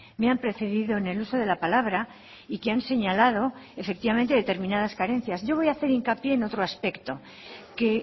me han precedido en el uso de la palabra y que han señalado efectivamente determinadas carencias yo voy a hacer hincapié en otro aspecto que